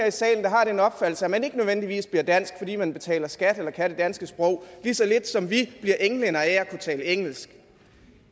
i salen der har den opfattelse at man ikke nødvendigvis bliver dansk fordi man betaler skat eller kan det danske sprog lige så lidt som vi bliver englændere af at kunne tale engelsk